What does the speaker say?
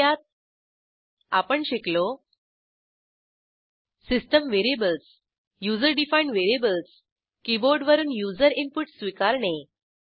थोडक्यात आपण शिकलो system variables user defined variables keyboard वरून युजर इनपुट स्वीकारणे